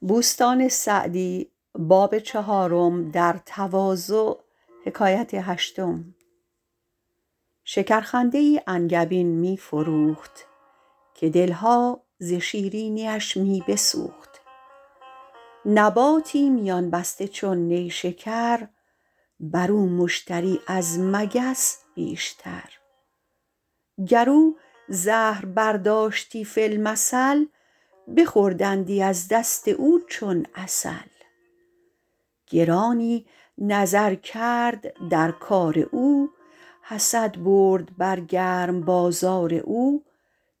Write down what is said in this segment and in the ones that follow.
شکر خنده ای انگبین می فروخت که دلها ز شیرینیش می بسوخت نباتی میان بسته چون نیشکر بر او مشتری از مگس بیشتر گر او زهر برداشتی فی المثل بخوردندی از دست او چون عسل گرانی نظر کرد در کار او حسد برد بر گرم بازار او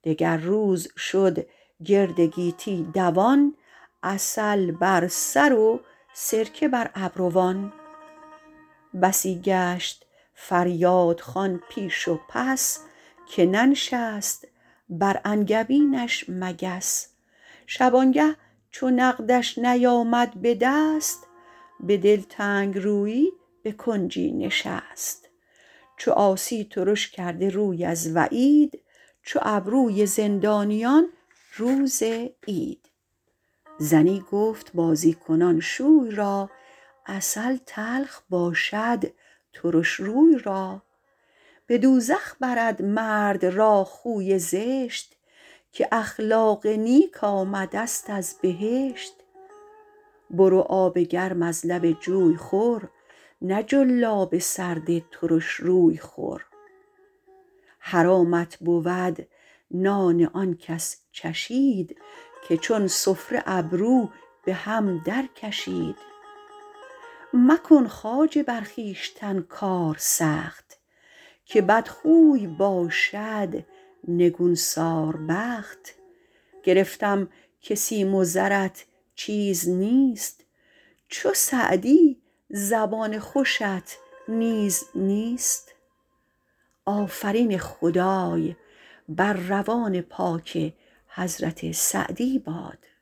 دگر روز شد گرد گیتی دوان عسل بر سر و سرکه بر ابروان بسی گشت فریادخوان پیش و پس که ننشست بر انگبینش مگس شبانگه چو نقدش نیامد به دست به دلتنگ رویی به کنجی نشست چو عاصی ترش کرده روی از وعید چو ابروی زندانیان روز عید زنی گفت بازی کنان شوی را عسل تلخ باشد ترش روی را به دوزخ برد مرد را خوی زشت که اخلاق نیک آمده ست از بهشت برو آب گرم از لب جوی خور نه جلاب سرد ترش روی خور حرامت بود نان آن کس چشید که چون سفره ابرو به هم در کشید مکن خواجه بر خویشتن کار سخت که بدخوی باشد نگون سار بخت گرفتم که سیم و زرت چیز نیست چو سعدی زبان خوشت نیز نیست